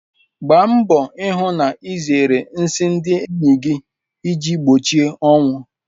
Gbaa mbọ hụ na ịzere nsị ndị enyi gị iji gbochie ọnwụ.